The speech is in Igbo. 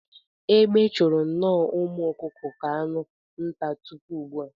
Egbe chụru nnọọ umu ọkụkụ ka anụ nta tupu ugbua.